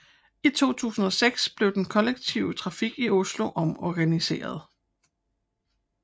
I 2006 blev den kollektive trafik i Oslo omorganiseret